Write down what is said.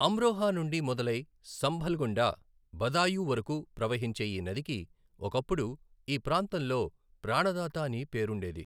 అమ్రోహా నుండి మొదలై సంభల్ గుండా బదాయూ వరకు ప్రవహించే ఈ నదికి ఒకప్పుడు ఈ ప్రాంతంలో ప్రాణదాత అని పేరుండేది.